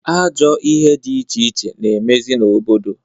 Ajọ ihe di iche iche na-emezị n'obodo.